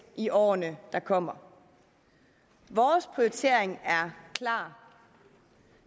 i årene der kommer vores prioritering er klar